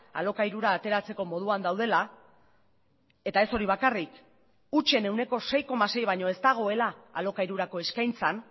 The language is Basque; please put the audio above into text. alokairura ateratzeko moduan daudela eta ez hori bakarrik hutsen ehuneko sei koma sei baino ez dagoela alokairurako eskaintzan